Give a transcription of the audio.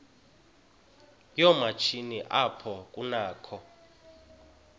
yoomatshini apho kunakho